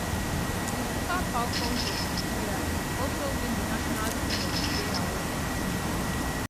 di super falcons of nigeria also win di national team of di year award